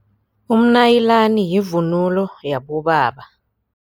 Umnayilani yivunulo yabobaba.